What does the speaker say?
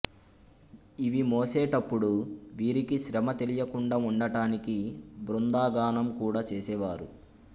ఇవి మోసే టప్పుడు వీరికి శ్రమ తెలియకుండా ఉండటానికి బృందగానం కూడా చేసేవారు